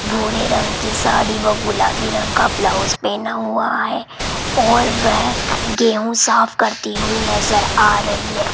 भूरे रंग की साड़ी व गुलाबी रंग का ब्लाउज पहना हुआ है और वेह गेहूं साफ करती हुई नजर आ रही है।